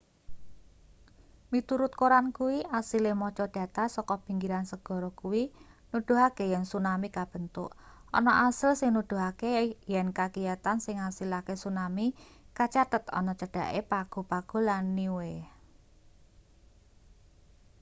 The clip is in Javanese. miturut koran kuwi asile maca data saka pinggiran segara kuwi nuduhake yen tsunami kabentuk ana asil sing nuduhake yen kagiyatan sing ngasilake tsunami kacathet ana cedhake pago pago lan niue